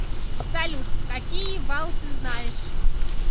салют какие вал ты знаешь